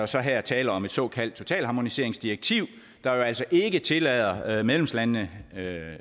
så her tale om et såkaldt totalharmoniseringsdirektiv der altså ikke tillader medlemslandene